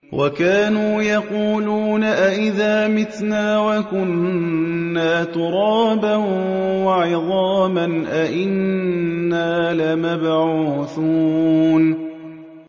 وَكَانُوا يَقُولُونَ أَئِذَا مِتْنَا وَكُنَّا تُرَابًا وَعِظَامًا أَإِنَّا لَمَبْعُوثُونَ